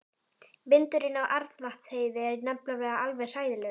Vindurinn á Arnarvatnsheiði er nefnilega alveg hræðilegur.